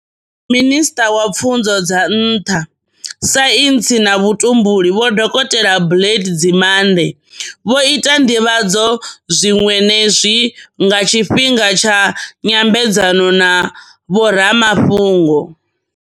Minisṱa wa Pfunzo dza Nṱha, Saintsi na Vhutumbuli Vho Dokotela Blade Nzimande, vho ita nḓivhadzo zwiṅwe ne zwi nga tshifhinga tsha nyambedzano na vho ramafhungo.